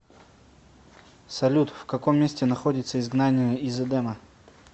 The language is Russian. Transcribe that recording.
салют в каком месте находится изгнание из эдема